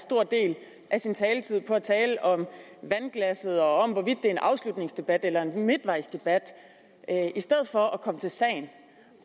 stor del af sin taletid på at tale om vandglasset og om hvorvidt det er en afslutningsdebat eller en midtvejsdebat i stedet for at komme til sagen